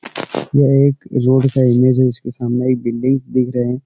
यह एक रोड है। इसके सामने एक बिल्डिंग्स दिख रहे --